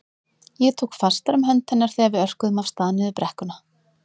Ég tók fastar um hönd hennar þegar við örkuðum af stað niður brekkuna.